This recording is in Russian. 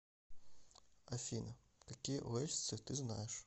афина какие уэльсцы ты знаешь